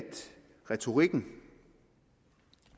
retorikken